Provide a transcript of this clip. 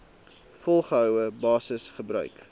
volgehoue basis gebruik